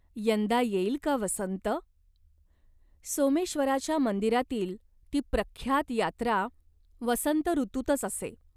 यंदा येईल का वसंत ? सोमेश्वराच्या मंदिरातील ती प्रख्यात यात्रा वसंत ऋतूतच असे.